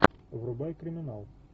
врубай криминал